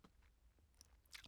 TV 2